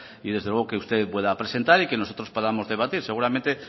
y desde luego que usted pueda presentar y que nosotros podamos debatir seguramente